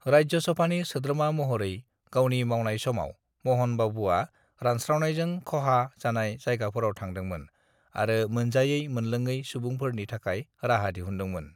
"राज्यसभानि सोद्रोमा महरै गावनि मावनाय समाव, महन बाबुआ रानस्रावनायजों खहा जानाय जायगाफोराव थांदोंमोन आरो मोनजायै मोनलोङै सुबुंफोरनि थाखाय राहा दिहुनदोंमोन।"